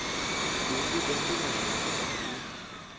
u vhiga mbilahelo vha i